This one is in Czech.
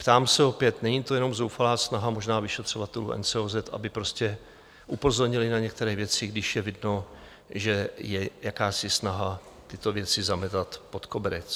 Ptám se opět, není to jenom zoufalá snaha možná vyšetřovatelů NCOZ, aby prostě upozornili na některé věci, když je vidno, že je jakási snaha tyto věci zametat pod koberec?